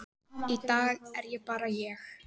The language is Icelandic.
í dag er ég bara ég.